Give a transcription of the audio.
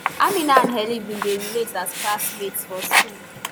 amina and hellen bin dey relate as classmates for school